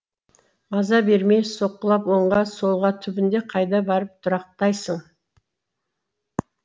маза бермей соққылап оңға солға түбінде қайда барып тұрақтайсың